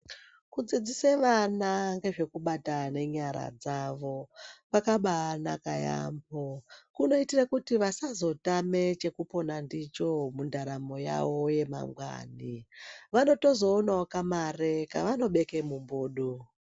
Kudziidzise vana ngezvekubata nenyara dzavo kwakaba anaka yaamho. Kunoite kuti vasazotame chokupona ndicho mundaramo yavo yamangwani. Vanotozoonawo kamare kavanobeka mumbudu.